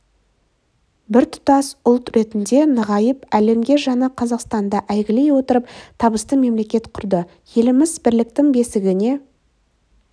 біртұтас ұлт ретінде нығайып әлемге жаңа қазақстанды әйгілей отырып табысты мемлекет құрды еліміз бірліктің бесігіне